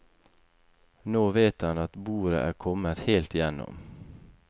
Nå vet han at boret er kommet helt igjennom.